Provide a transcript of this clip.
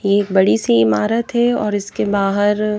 एक बड़ी सी इमारत है और इसके बाहर--